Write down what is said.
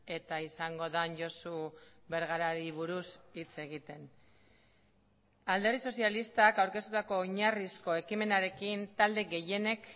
eta izango den josu bergarari buruz hitz egiten alderdi sozialistak aurkeztutako oinarrizko ekimenarekin talde gehienek